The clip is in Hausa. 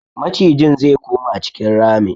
Macijin ze koma cikin ramin.